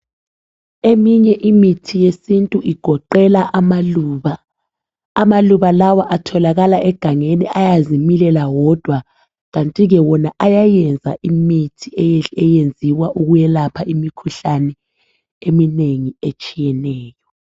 Eminye imithi yesintu igoqela amaluba. Amaluba lawa atholakala egangeni ayazimilela wodwa Kanti ke wona ayayenza imithi eyenziwa ukwelapha imikhuhlane eminengi etshiyeneyo.